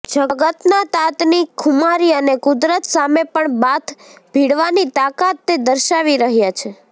જગતનાં તાતની ખુમારી અને કુદરત સામે પણ બાથ ભીડવાની તાકાત તે દર્શાવી રહ્યાં છે